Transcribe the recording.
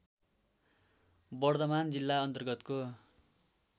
बर्धमान जिल्ला अन्तर्गतको